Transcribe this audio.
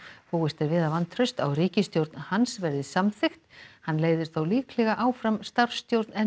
búist er við að vantraust á ríkisstjórn hans verði samþykkt hann leiðir þó líklega áfram starfsstjórn en